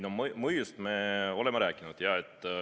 No mõjust me oleme rääkinud.